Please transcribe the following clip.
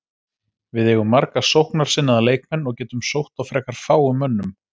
Við eigum marga sóknarsinnaða leikmenn og getum sótt á frekar fáum mönnum.